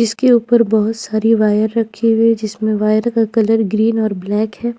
जिसके ऊपर बहुत सारी वायर रखी हुई है जिसमें वायर का कलर ग्रीन और ब्लैक है।